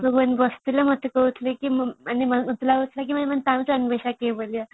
ତୋ ସାଙ୍ଗ ମାନେ ସବୁ ବସିଥିଲେ ମତେ କହୁଥିଲେ କି ମାନେ ମତେ ଲାଗୁଥିଲା କି |